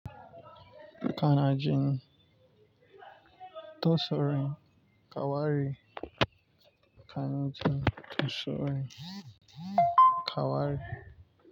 Kana jin da taurin kawari. Kana jin da tsare kawari.